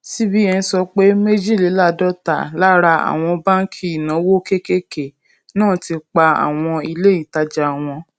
cbn sọ pé méjìléláàádọta lára àwọn báńkì ìnáwó kéékèèké náà ti pa àwọn ilé ìtajà wọn